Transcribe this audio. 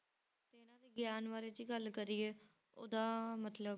ਇਹਨਾਂ ਦੇ ਗਿਆਨ ਬਾਰੇ ਜੇ ਗੱਲ ਕਰੀਏ ਉਹਦਾ ਮਤਲਬ